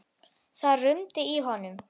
Það rumdi í honum.